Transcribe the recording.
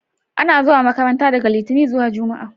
A na zuwa makaranta daga litani zuwa jumma'a